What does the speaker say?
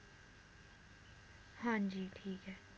ਹਾਂਜੀ ਠੀਕ ਏ